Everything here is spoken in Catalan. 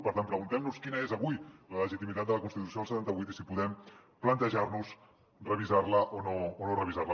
per tant preguntem nos quina és avui la legitimitat de la constitució del setanta vuit i si podem plantejar nos revisar la o no revisar la